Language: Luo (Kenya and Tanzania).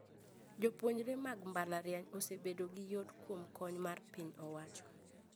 Jopuonjre mag mbalariany osebedo gi yot kuom kony mar piny owacho